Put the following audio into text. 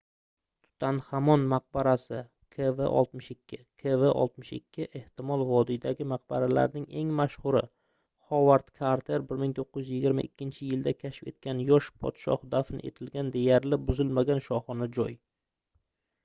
tutanxamon maqbarasi kv62. kv62 ehtimol vodiydagi maqbaralarning eng mashhuri hovard karter 1922-yilda kashf etgan yosh podshoh dafn etilgan deyarli buzilmagan shohona joy